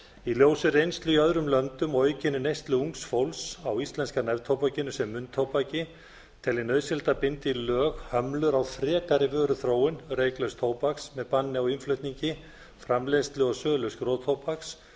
í ljósi reynslu í öðrum löndum og aukinni neyslu ungs fólks á íslenska neftóbakinu sem munntóbaki tel ég nauðsynlegt að binda í lög hömlur á frekari vöruþróun reyklauss tóbaks með banni á innflutningi framleiðslu og sölu skrotóbaks